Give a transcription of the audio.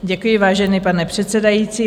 Děkuji, vážený pane předsedající.